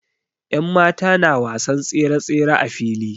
Yanmata na wasan tsere-tsere a fili.